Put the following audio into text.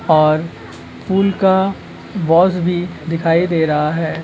और फूल का बॉक्स भी दिखाई दे रहा है।